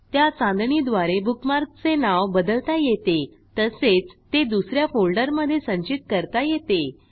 त्या चांदणीद्वारे बुकमार्कचे नाव बदलता येते तसेच ते दुस या फोल्डरमधे संचित करता येते